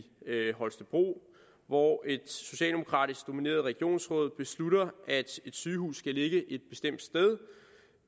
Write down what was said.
holstebro hvor et socialdemokratisk domineret regionsråd besluttede at et sygehus skulle ligge et bestemt sted